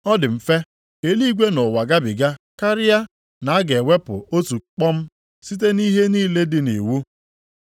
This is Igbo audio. Ọ dị mfe ka eluigwe na ụwa gabiga karịa na a ga-ewepụ otu kpọm, site nʼihe niile dị nʼiwu.